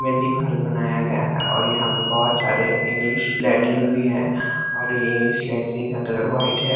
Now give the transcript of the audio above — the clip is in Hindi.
में दिवाल बनाया गया है और यहाँ पर बहुत सारे इंग्लिश लेटरिंग भी है और ये इंग्लिश लेटरिंग का कलर व्हाईट है।